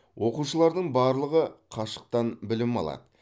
оқушылардың барлығы қашықтан білім алады